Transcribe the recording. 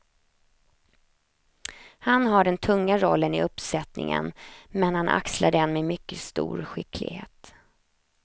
Han har den tunga rollen i uppsättningen, men han axlar den med mycket stor skicklighet.